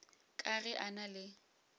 ka ge a na le